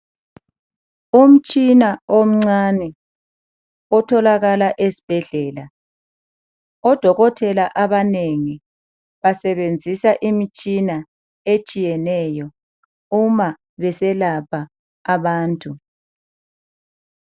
Umtshina omcane otholakala esibhedlela, odokotela abanengi basebenzisa imitshina etshiyeneyo uma beselapha abantu.